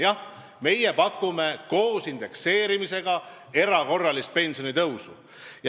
Jah, meie pakume koos indekseerimisega erakorralist pensionitõusu.